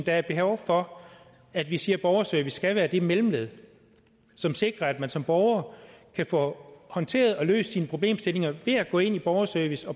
der er behov for at vi siger at borgerservice skal være det mellemled som sikrer at man som borger kan få håndteret og løst sine problemstillinger ved at gå ind i borgerservice